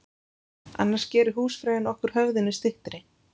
Annars gerir húsfreyjan okkur höfðinu styttri.